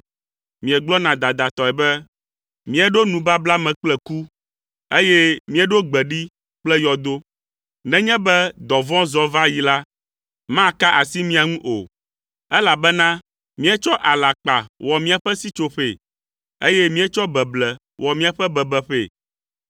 Miegblɔna dadatɔe be, “Míeɖo nubabla me kple ku, eye míeɖo gbe ɖi kple yɔdo. Nenye be dɔvɔ̃ zɔ va yi la, maka asi mía ŋu o, elabena míetsɔ alakpa wɔ míaƒe sitsoƒee, eye míetsɔ beble wɔ míaƒe bebeƒee.”